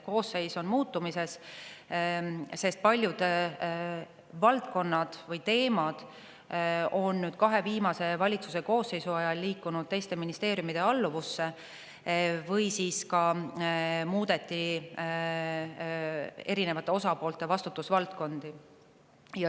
Koosseis on muutmisel, sest paljud valdkonnad või teemad on kahe viimase valitsuse koosseisu ajal liikunud teiste ministeeriumide alluvusse või on muudetud osapoolte vastutusvaldkondi.